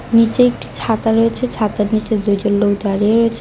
নীচে একটি ছাতা রয়েছে ছাতার নীচে দুজন লোক দাঁড়িয়ে রয়েচে।